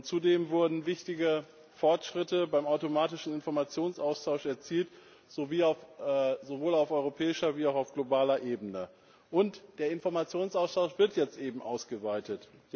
Zudem wurden wichtige Fortschritte beim automatischen Informationsaustausch erzielt, sowohl auf europäischer als auch auf globaler Ebene. Und der Informationsaustausch wird jetzt ausgeweitet.